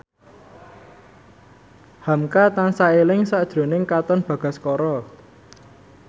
hamka tansah eling sakjroning Katon Bagaskara